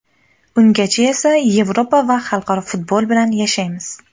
Ungacha esa Yevropa va xalqaro futbol bilan yashaymiz.